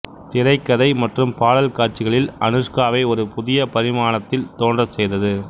திரைக்கதை மற்றும் பாடல் காட்சிகளில் அனுஷ்காவை ஒரு புதிய பரிமாணத்தில் தோன்றச்செய்தது